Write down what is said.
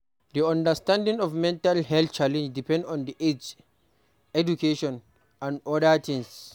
Di understanding of mental health challenge depend on age, education and oda things